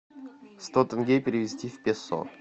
сто тенге перевести в песо